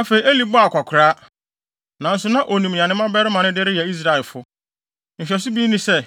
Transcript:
Afei, Eli bɔɔ akwakoraa, nanso na onim nea ne mmabarima no de reyɛ Israelfo. Nhwɛso bi ne sɛ,